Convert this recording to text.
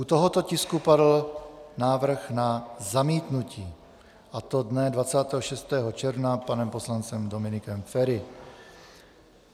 U tohoto tisku padl návrh na zamítnutí, a to dne 26. června panem poslancem Dominikem Feri.